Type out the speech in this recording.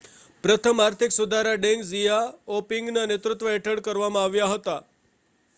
પ્રથમ આર્થિક સુધારા ડેંગ ઝિયાઓપિંગના નેતૃત્વ હેઠળ કરવામાં આવ્યા હતા